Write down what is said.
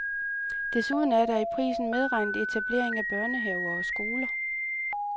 Desuden er der i prisen medregnet etablering af børnehaver og skoler.